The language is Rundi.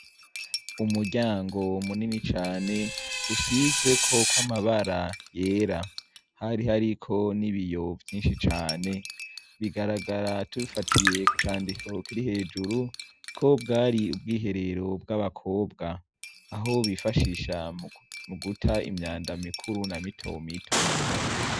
Umuryango munini cane usizeko kw'amabara yera hari hariko n'ibiyo vyinshi cane bigaragara tubifatiye ku candiko kiri hejuru kobwari ubwiherero bw'abakobwa aho bifashisha muguta imyanda mikuru na mitomito.